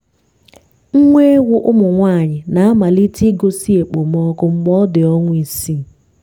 nwa ewu ụmụ nwanyị na-amalite igosi okpomọkụ mgbe ọ dị ọnwa isii.